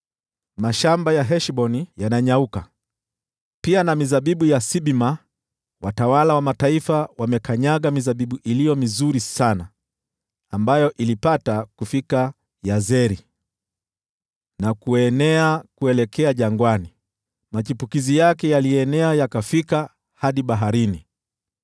Mashamba ya Heshboni yananyauka, pia na mizabibu ya Sibma. Watawala wa mataifa wamekanyaga mizabibu iliyo mizuri sana, ambayo ilipata kufika Yazeri na kuenea kuelekea jangwani. Machipukizi yake yalienea yakafika hadi baharini.